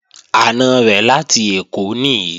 Àna rẹ̀ láti Èkó nìí